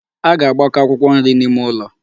A ga-agbakọ akwụkwọ nri n'ime ụlọ.